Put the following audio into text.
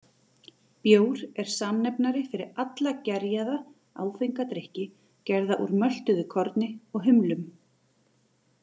Bjór er samnefnari fyrir alla gerjaða, áfenga drykki gerða úr möltuðu korni og humlum.